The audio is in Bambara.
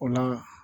O la